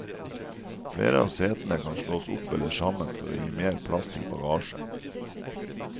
Flere av setene kan slås opp eller sammen for å gi mer plass til bagasje.